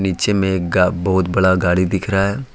पीछे में गा बहुत बड़ा गाड़ी दिख रहा है।